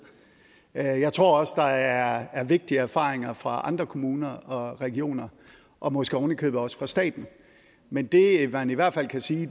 jeg jeg tror også at der er vigtige erfaringer fra andre kommuner og regioner og måske oven i købet også fra staten men det man i hvert fald kan sige